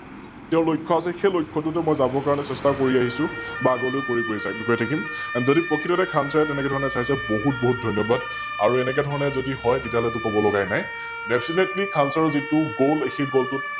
তেও লক্ষ্য আছে সৈ লক্ষ্য় টোতে মই যাবৰ কাৰনে চেস্থা কৰি আহিছো বা আগলৈও কৰি গৈ যাম, গৈ ঠাকিম, যদি প্ৰকৃততে খান Sir ৰে তেনেকে ধৰণে চাইছে বহুত বহুত ধন্যবাদ আৰু এনেকে ধৰণে যদি হয় তেতিয়াহলেটো কবলগিয়াই নাই Deffinetly খান Sir ৰ যিতো Goal সৈ Goal টোত